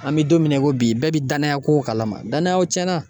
An bɛ don min na i ko bi bɛɛ bi danaya ko kalama danayaw tiɲɛna